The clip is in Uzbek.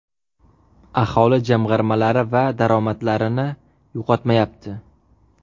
Aholi jamg‘armalari va daromadlarini yo‘qotmayapti.